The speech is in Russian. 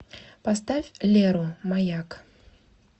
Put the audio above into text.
поставь леру маяк